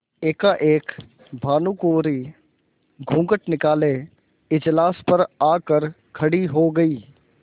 एकाएक भानुकुँवरि घूँघट निकाले इजलास पर आ कर खड़ी हो गयी